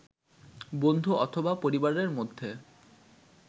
বন্ধু অথবা পরিবারের মধ্যে